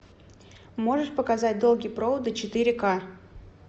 можешь показать долгие проводы четыре ка